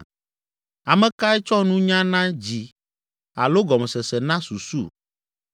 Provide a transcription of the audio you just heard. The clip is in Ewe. Ame kae tsɔ nunya na dzi alo gɔmesese na susu?